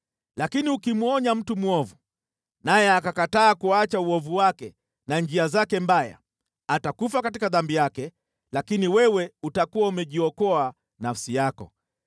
Lakini ukimwonya mtu mwovu naye akakataa kuacha uovu wake na njia zake mbaya, atakufa katika dhambi yake, lakini wewe utakuwa umejiokoa nafsi yako.